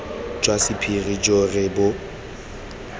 jwa sephiri jo re bo